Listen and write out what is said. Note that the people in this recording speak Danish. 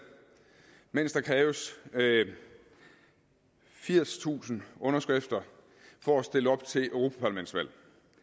mens der kræves firstusind underskrifter for at stille op til et europaparlamentsvalg